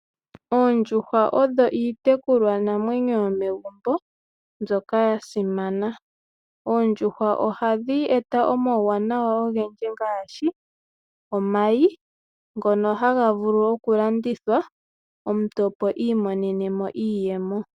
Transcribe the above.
Oondjuhwa odho iitekulwanamwenyo yomegumbo, mbyoka yasimana. oondjuhwa ohadhi eta omauwanawa ogendji ngaashi omayi, ngoka haga vulu okulandithwa omuntu opo iimonene mo iiyemo .